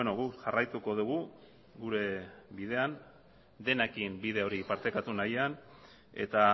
guk jarraituko dugu gure bidean denekin bide hori partekatu nahian eta